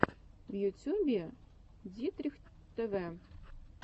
в ютюбе дитрих тв